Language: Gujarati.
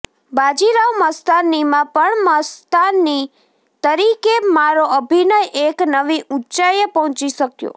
બાજીરાવ મસ્તાનીમાં પણ મસ્તાની તરીકે મારો અભિનય એક નવી ઊંચાઈએ પહોંચી શક્યો